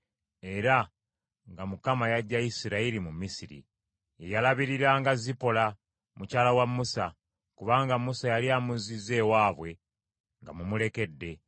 Ye yalabiriranga Zipola, mukyala wa Musa; kubanga Musa yali amuzzizza ewaabwe ng’amumulekedde,